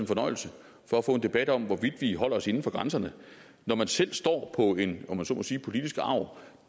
fornøjelse for at få en debat om hvorvidt vi holder os inden for grænserne når man selv står på en om man så må sige politisk arv